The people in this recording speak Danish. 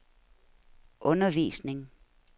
undervisning